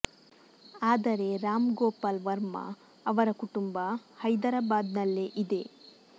ಆದರೆ ರಾಮ್ ಗೋಪಾಲ್ ವರ್ಮಾ ಅವರ ಕುಟುಂಬ ಹೈದರಾಬಾದ್ ನಲ್ಲೇ ಇದೆ